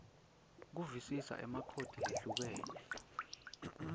kuvisisa emakhodi lehlukene